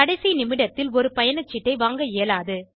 கடைசி நிமிடத்தில் ஒரு பயணச்சீட்டை வாங்க இயலாது